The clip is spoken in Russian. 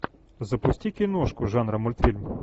запусти киношку жанра мультфильм